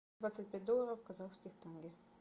двадцать пять долларов в казахских тенге